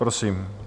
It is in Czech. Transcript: Prosím.